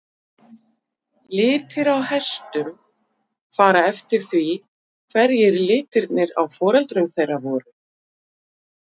Litir á einstökum hestum fara eftir því hverjir litirnir á foreldrum þeirra voru.